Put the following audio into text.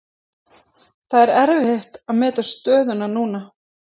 Það er erfitt að meta stöðuna núna.